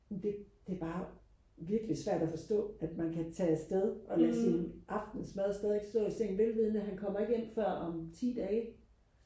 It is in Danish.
det det er bare virkelig svært og forstå at man kan tage afsted og lade sin aftensmad stadigvæk stå i sengen velvidende at han kommer ikke hjem før om ti dage